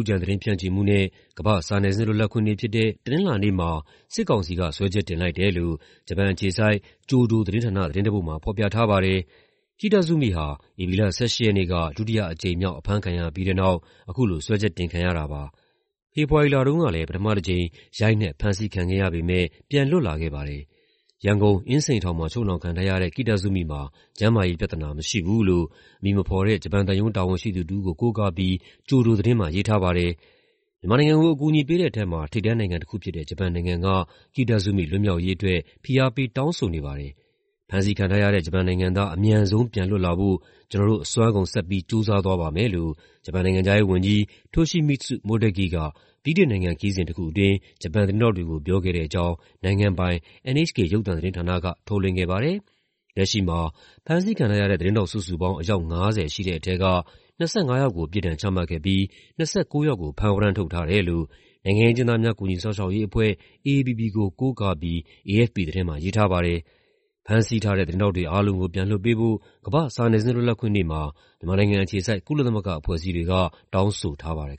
ပ်ကြံသတင်းဖြန့်ချီမှုနဲ့ ကမ္ဘာ့စာနယ်ဇင်းလွတ်လပ်ခွင့်နေ့ဖြစ်တဲ့ တနင်္လာနေ့မှာ စစ်ကောင်စီက စွဲချက်တင်လိုက်တယ်လို့ ဂျပန်အခြေစိုက် ကျိုဒိုသတင်းဌာန သတင်းတပုဒ်မှာ ဖော်ပြထားပါတယ်။ Kitazumi ဟာ ဧပြီလ ၁၈ ရက်နေ့က ဒုတိယအကြိမ်မြောက် အဖမ်းခံရပြီးတဲ့နောက် အခုလို စွဲချက်တင်ခံရတာပါ။ ဖေဖော်ဝါရီလတုန်းကလည်း ပထမတကြိမ် ရိုက်နှက် ဖမ်းဆီးခံခဲ့ရပေမယ့် ပြန်လွတ်လာခဲ့ပါတယ်။ ရန်ကုန်၊ အင်းစိန်ထောင်မှာ ချုပ်နှောင်ခံထားရတဲ့ Kitazumi မှာ ကျန်းမာရေးပြဿနာမရှိဘူးလို့ အမည်မဖော်တဲ့ ဂျပန်သံရုံး တာဝန်ရှိသူတဦးကို ကိုးကားပြီး ကျိုဒိုသတင်းမှာ ရေးထားပါတယ်။ မြန်မာနိုင်ငံကို အကူအညီပေးတဲ့ထဲမှာ ထိပ်တန်းနိုင်ငံတခုဖြစ်တဲ့ ဂျပန်နိုင်ငံက Kitazumi လွတ်မြောက်ရေးအတွက် ဖိအားပေးတောင်းဆိုနေပါတယ်။ "ဖမ်းဆီးခံထားရတဲ့ ဂျပန်နိုင်ငံသား အမြန်ဆုံး ပြန်လွတ်လာဖို့ ကျနော်တို့ အစွမ်းကုန် ဆက်ပြီး ကြိုးစားသွားပါမယ်။" လို့ ဂျပန်နိုင်ငံခြားရေးဝန်ကြီး Toshimitsu Motegi က ဗြိတိန်နိုင်ငံခရီးစဉ်တခုအတွင်း ဂျပန်သတင်းထောက်တွေကို ပြောခဲ့တဲ့အကြောင်း နိုင်ငံပိုင် NHK ရုပ်သံသတင်းဌာနက ထုတ်လွှင့်ခဲ့ပါတယ်။ လက်ရှိမှာ ဖမ်းဆီးခံထားရတဲ့ သတင်းထောက် စုစုပေါင်း အယောက် ၅၀ ရှိတဲ့ထဲက ၂၅ ယောက်ကို ပြစ်ဒဏ်ချမှတ်ခဲ့ပြီး ၂၉ ယောက်ကို ဖမ်းဝရမ်းထုတ်ထားတယ်လို့ နိုင်ငံရေးအကျဉ်းသားများကူညီစောင့်ရှောက်ရေးအဖွဲ့ (AAPP) ကို ကိုးကားပြီး AFP သတင်းမှာရေးထားပါတယ်။ ဖမ်းဆီးထားတဲ့ သတင်းထောက်တွေအားလုံးကို ပြန်လွှတ်ပေးဖို့ ကမ္ဘာ့စာနယ်ဇင်းလွတ်လပ်ခွင့်နေ့မှာ မြန်မာနိုင်ငံအခြေစိုက် ကုလသမဂ္ဂအဖွဲ့အစည်းတွေက တောင်းဆိုထားပါတယ်